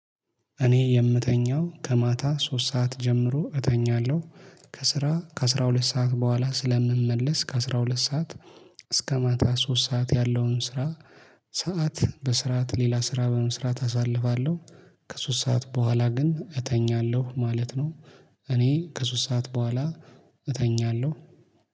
እኔ የምተኛው ከማታ ሶስት ሰዓት ጀምሮ እተኛለሁ ከስራ ከስራ ከአስራ ሁለት ሰዓት በኋላ ስለምመለስ ከአስራ ሁለት ሰዓት እስከ ማታ ሶስት ሰዓት ያለውን ስራ ሰዓት በስራት ሌላ ስራ በመስራት አሳልፋለሁ። ከሶስት ሰዓት በኋላ ግን እተኛለሁ ማለት ነው። እኔ ከሶስት ሰዓት በኋላ እተኛለሁ